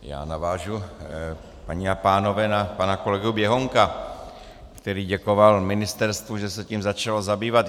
Já navážu, paní a pánové, na pana kolegu Běhounka, který děkoval ministerstvu, že se tím začalo zabývat.